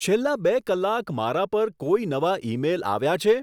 છેલ્લાં બે કલાક મારા પર કોઈ નવા ઈમેઈલ આવ્યાં છે